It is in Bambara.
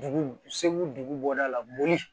Dugu segu dugu bɔda la boli